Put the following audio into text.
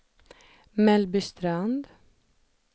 Mellbystrand